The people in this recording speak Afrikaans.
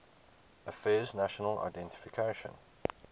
affairs national identification